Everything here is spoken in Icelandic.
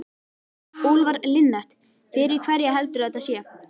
Úlfar Linnet: Fyrir hverja heldurðu að þetta sé?